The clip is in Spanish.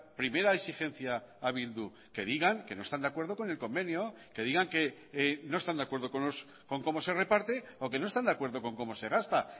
primera exigencia a bildu que digan que no están de acuerdo con el convenio que digan que no están de acuerdo con cómo se reparte o que no están de acuerdo con cómo se gasta